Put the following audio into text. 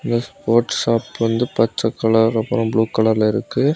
இந்த sport shop வந்து பச்சை கலர் அப்பறம் ப்ளூ கலர்ல இருக்கு.